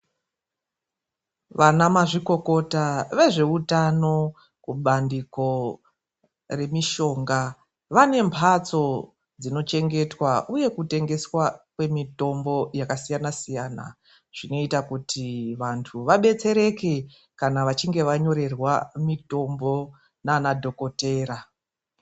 Vana mazvikokota vezveutano mubandiko remishonga, vane mbatso dzinochengetwa uye kutengeswa kwemitombo yakasiyana- siyana. Zvinoita kuti vantu vabetsereke kana vachinge vanyorererwe mitombo naana dhokotera.